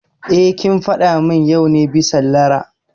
Eh, kin faɗa mun yau ne bison Lara